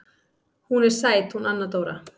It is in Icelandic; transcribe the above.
Hún er sæt hún Anna Dóra.